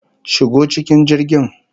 Shigo cikin jirgin!